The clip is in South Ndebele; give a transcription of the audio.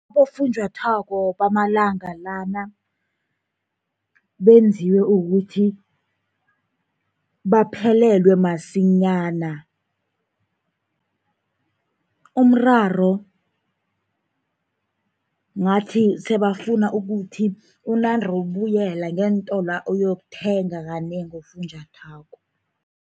Abofunjathwako bamalanga lana benziwe ukuthi baphelelwe masinyana. Umraro ngathi sebafuna ukuthi unande ubuyela ngeentolwa, uyokuthenga kanengi ufunjathwako.